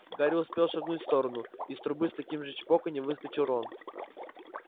гарри успел шагнуть в сторону из трубы с таким же чпоканьем выскочил рон